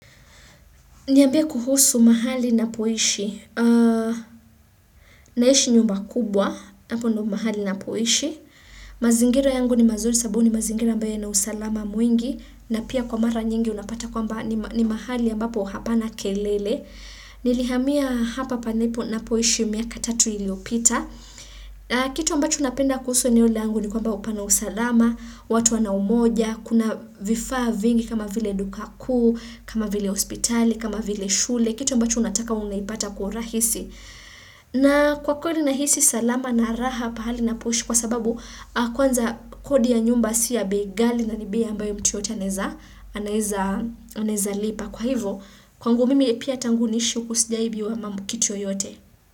Niambie kuhusu mahali ninapoishi. Naishi nyumba kubwa. Hapo ndio mahali ninapoishi. Mazingira yangu ni mazuri sababu ni mazingira ambayo yana usalama mwingi. Na pia kwa mara nyingi unapata kwamba ni mahali ambapo hapana kelele. Nilihamia hapa ninapoishi miaka tatu iliyopita. Kitu ambacho napenda kuhusu eneol angu ni kwamba pana usalama watu wana umoja, kuna vifaa vingi kama vile duka kuu kama vile hospitali, kama vile shule, kitu ambacho unataka unapata kwa urahisi na kwa kodi nahisi salama na raha pahali ninapoishi kwa sababu kwanza kodi ya nyumba sio ya bei ghali na ni bei ambayo mtu yeyote anaweza anaweza lipa, kwa hivyo kwangu mimi pia tangu niishi huku sijawahi ibiwa kitu yoyote.